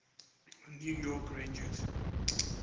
new york rangers